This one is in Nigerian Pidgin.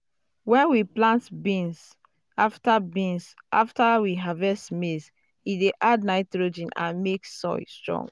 when we plant beans after beans after we harvest maize e dey add nitrogen and make soil strong.